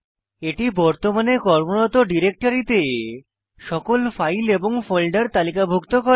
এটি বর্তমানে কর্মরত ডিরেক্টরিতে সকল ফাইল এবং ফোল্ডার তালিকাভুক্ত করে